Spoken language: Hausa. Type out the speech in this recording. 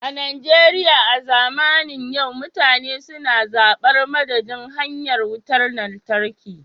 A Najeriya a zamanin yau mutane suna zabar madadin hanyar Wutar Lantarki